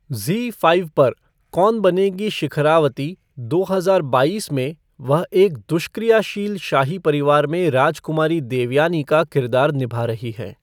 ज़ी five पर कौन बनेगी शिखरावती, दो हजार बाईस, में वह एक दुष्क्रियाशील शाही परिवार में राजकुमारी देवयानी का किरदार निभा रही हैं।